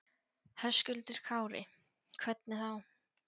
Höskuldur Kári: Hvernig þá?